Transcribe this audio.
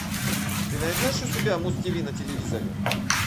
ты найдешь у себя муз тиви на телевизоре